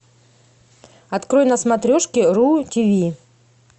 открой на смотрешке ру тиви